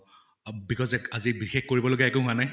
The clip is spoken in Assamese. আহ because এত আজি বিশেষ কৰিব লগিয়া একো হোৱা নাই